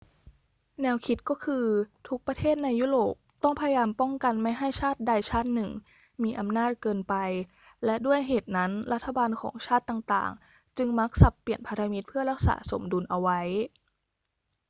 แนวคิดก็คือ ทุกประเทศในยุโรปต้องพยายามป้องกันไม่ให้ชาติใดชาติหนึ่งมีอำนาจเกินไป และด้วยเหตุนั้นรัฐบาลของชาติต่าง ๆ จึงมักสับเปลี่ยนพันธมิตรเพื่อรักษาสมดุลเอาไว้